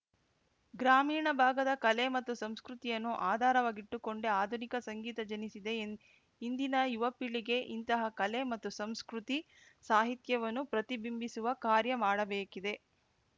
ಗ್ರಾಮೀಣ ಭಾಗದ ಕಲೆ ಮತ್ತು ಸಂಸ್ಕೃತಿಯನ್ನು ಆಧಾರವಾಗಿಟ್ಟುಕೊಂಡೇ ಆಧುನಿಕ ಸಂಗೀತ ಜನಿಸಿದೆ ಎಂದ್ ಇಂದಿನ ಯುವಪೀಳಿಗೆ ಇಂತಹ ಕಲೆ ಮತ್ತು ಸಂಸ್ಕೃತಿ ಸಾಹಿತ್ಯವನ್ನು ಪ್ರತಿಬಿಂಬಿಸುವ ಕಾರ್ಯ ಮಾಡಬೇಕಿದೆ